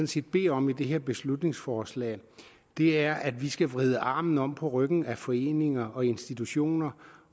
set beder om i det her beslutningsforslag er at vi skal vride armen om på ryggen af foreninger og institutioner